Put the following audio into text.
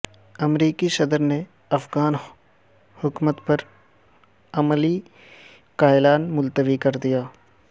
امریکی صدر نے افغان حکمت عملی کا اعلان ملتوی کردیا